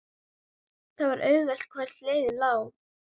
Það var auðheyrt hvert leiðin lá.